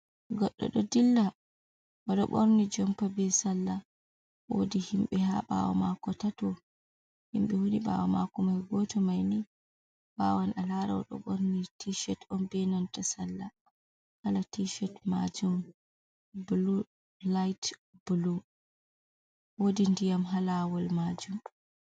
Goɗɗo ɗo dilla, o ɗo borni jompa be salla, woodi himɓe haa ɓaawo maako tato, himɓe woni ɓaawo maako mai gooto, mai ni wawan a laara o ɗo ɓorni tishet, on be nanta salla, kala tishet maajum bulu, lait bulu, woodi ndiyam haa laawol maajum.